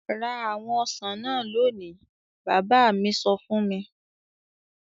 "Ra àwọn ọsàn náà lónìí!" Bàbá mi sọ fún mi.